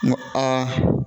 N ko